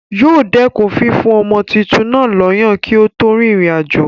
Yóò dẹ̀kun fífún ọmọ tuntun náà lọ́yàn kí ó tó rin ìrìn àjò.